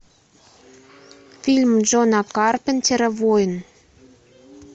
фильм джона карпентера воин